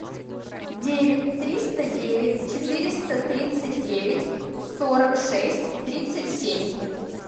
девять триста девять четыреста тридцать девять сорок шесть тридцать семь